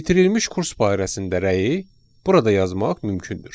Bitirilmiş kurs barəsində rəyi burada yazmaq mümkündür.